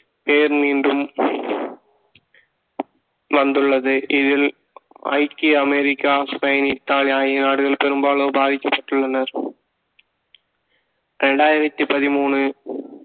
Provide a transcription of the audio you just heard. பேர் மீண்டும் வந்துள்ளது இதில் ஐக்கிய அமெரிக்கா ஸ்பெயின் தாய் ஆகிய நாடுகள் பெரும்பாலும் பாதிக்கப்பட்டுள்ளனர் இரண்டாயிரத்தி பதிமூணு